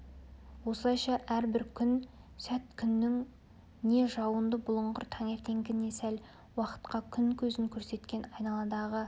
осылайша әрбір күн сәт күннің не жауынды бұлыңғыр таңертеңгі не сәл уақытқа күн көзін көрсеткен айналадағы